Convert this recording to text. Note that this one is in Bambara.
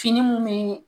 Fini mun be